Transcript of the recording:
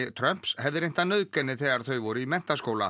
Trumps hefði reynt að nauðga henni þegar þau voru í menntaskóla